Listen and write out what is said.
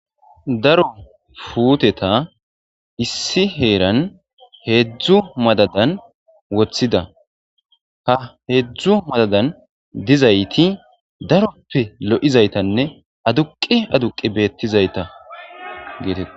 Daro puteta issi heran hedzu madadan wothida ha hedzu madadan dizati darope lo'izaytanne aduqi aduqi betizayta